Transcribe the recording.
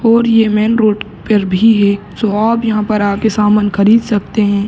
और ये main road पर भी है तो आप यहाँ पर आके सामान खरीद सकते हैं।